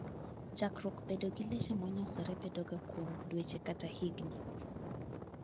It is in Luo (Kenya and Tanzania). chakruok bedo gi leche monyosore bedo ga kuom dweche kata higni